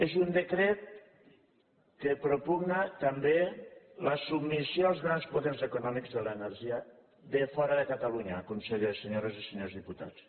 és un decret que propugna també la submissió als grans poders econòmics de l’energia de fora de catalunya conseller senyores i senyors diputats